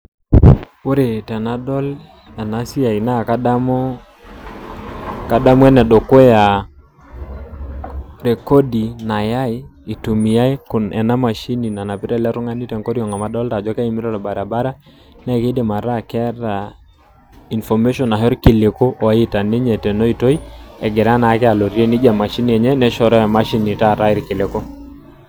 Ore tenadol ena siai naa kadamu kadamu ene dukuya rekodi nayai itumiai ena mashini nanapita ele tung'ani te nkorionk amu adolta ajo keimita orbaribara, nee kiidim ataa keeta information ashe irkiliku oita ninye tena oitoi egira naake alotie nija emashini enye neshoroo emashini taata irkiliku.